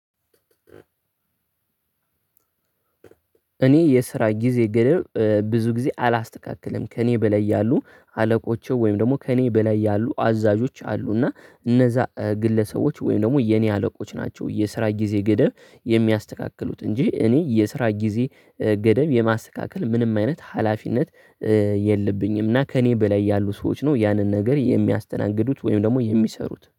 እኔ የስራ ጊዜ ገደብ ብዙ ጊዜ አላስተካክልም። ከእኔ በላይ ያሉ አለቆቹ ወይም ደግሞ ከእኔ በላይ ያሉ አዛዦች አሉና እነዛ ግለሰቦች ወይም ደግሞ የኔ አለቆች ናቸው የስራ ጊዜ ገደብ የሚያስተካክሉት እንጂ እኔ የስራ ጊዜ ገደብ የማስተካከል ምንም አይነት ሀላፊነት የለብኝም፤ እና ከእኔ በላይ ያሉ ሰዎች ነው ያንን ነገር የሚያስተናግዱት ወይም ደግሞ የሚሰሩት።